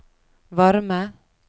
varme